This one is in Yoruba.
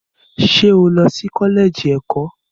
Ṣé ó lọ sí kọ́lẹ́ẹ̀jì ẹ̀kọ́?